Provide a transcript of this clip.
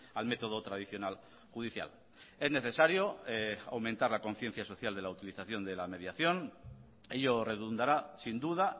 al método tradicional judicial es necesario aumentar la conciencia social de la utilización de la mediación ello redundará sin duda